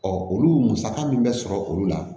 olu musaka min bɛ sɔrɔ olu la